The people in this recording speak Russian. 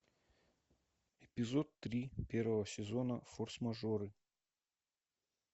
эпизод три первого сезона форс мажоры